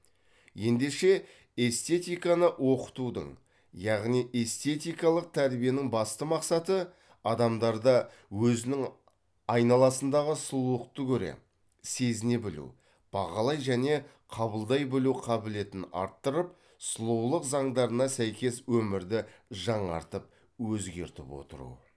ендеше эстетиканы оқытудың яғни эстетикалық тәрбиенің басты мақсаты адамдарда өзінің айналасындағы сұлулықты көре сезіне білу бағалай және қабылдай білу қабілетін арттырып сұлулық заңдарына сәйкес өмірді жаңартып өзгертіп отыру